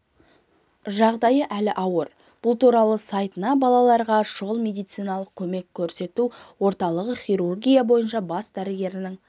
жағдайы әлі ауыр бұл туралы сайтына балаларға шұғыл медициналық көмек орталығы хирургия бойынша бас дәрігерінің